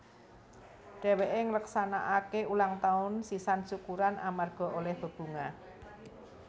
Dhèwèké ngleksanakaké ulang taun sisan syukuran amarga olèh bebungah